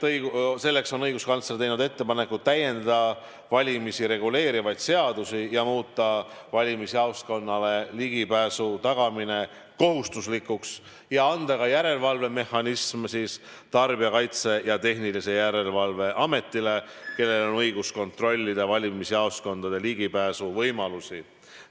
Selleks on õiguskantsler teinud ettepaneku täiendada valimisi reguleerivaid seadusi ja muuta valimisjaoskonnale ligipääsu tagamine kohustuslikuks ning luua ka järelevalvemehhanism, nii et Tarbijakaitse ja Tehnilise Järelevalve Ametil oleks õigus kontrollida valimisjaoskondadele ligipääsu võimalusi.